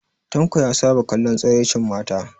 Tanko ya saba kallon tsiraicin mata